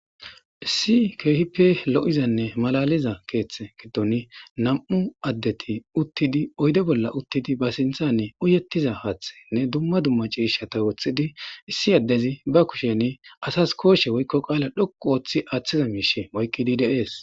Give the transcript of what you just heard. issi keehipe lo7izanne malaliza keeththe giddon nam7u addeti uttidi oyde bolla uttidi ba sinthanne uyettiza haaththe nne dumma dumma ciishata woththidi issi addezi ba kushen asas kooshe woykko qaala dhoqu ooththi aaththiza miishe moykkidi de'es